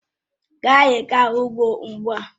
Ka anyị gaa ugbo ugbu a!